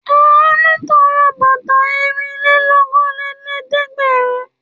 Àánú tọrẹ bàtà ẹrìnlélókòólẹ́ẹ̀dẹ́gbẹ̀rún.